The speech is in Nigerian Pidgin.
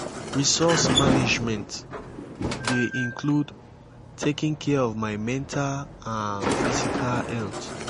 resource management dey include taking care of my mental and physical health.